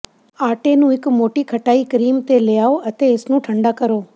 ਆਟੇ ਨੂੰ ਇੱਕ ਮੋਟੀ ਖਟਾਈ ਕਰੀਮ ਤੇ ਲਿਆਓ ਅਤੇ ਇਸ ਨੂੰ ਠੰਢਾ ਕਰੋ